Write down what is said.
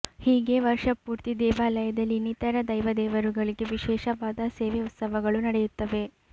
ಹೀಗೆ ವರ್ಷಪೂರ್ತಿ ದೇವಾಲಯದಲ್ಲಿ ಇನ್ನಿತರ ದೈವ ದೇವರುಗಳಿಗೆ ವಿಶೇಷವಾದ ಸೇವೆ ಉತ್ಸವಗಳು ನಡೆಯುತ್ತವೆ